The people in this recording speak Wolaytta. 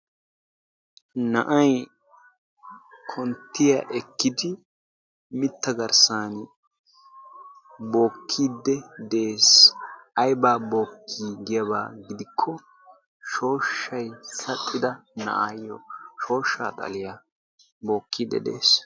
Na'ay konttiya ekkid mitta garssan bookkiidde de'ees. Aybba bookki giyaba gidikko shooshshay saxxido na'ayo shooshshaa xalliya bookkide de'ees.